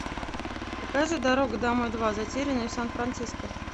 покажи дорога домой два затерянные в сан франциско